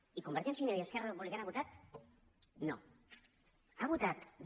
i convergència i unió i esquerra republicana han votat no han votat no